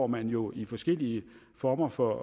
man jo i forskellige former for